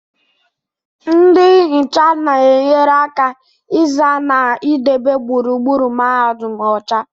Ndị nhịcha na-enyere aka ịza na idebe gburugburu Mahadum ọcha